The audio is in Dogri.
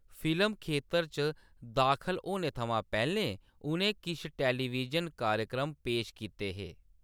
फिल्म खेतर च दाखल होने थमां पैह्‌‌‌लें, उʼनें किश टैलीविजन कार्यक्रम पेश कीते हे।